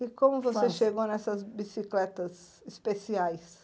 E como você chegou nessas bicicletas especiais?